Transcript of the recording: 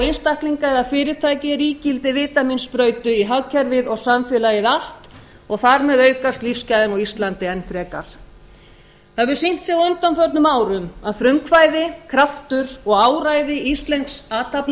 einstaklinga eða fyrirtæki er ígildi vítamínsprautu í hagkerfið og samfélagið allt og þar með aukast lífsgæðin á íslandi enn frekar það hefur sýnt sig á undanförnum árum að frumkvæði kraftur og áræði íslensks